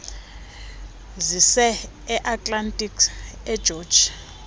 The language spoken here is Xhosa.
zise atlantis egeorge